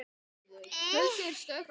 Lúna talaði